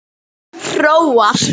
Hróar